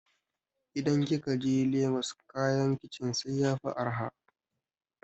idan kikaje lagos kayan kicin sai yafi araha